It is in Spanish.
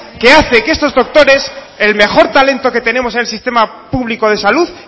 que hace que estos doctores el mejor talento que tenemos en el sistema público de salud